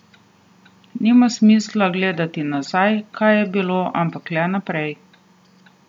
Nima smisla gledati nazaj, kaj je bilo, ampak le naprej.